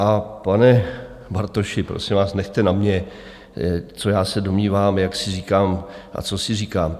A pane Bartoši, prosím vás, nechte na mně, co já se domnívám, jak si říkám a co si říkám.